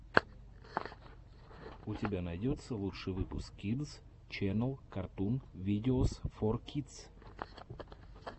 у тебя найдется лучший выпуск кидс ченнел картун видеос фор кидс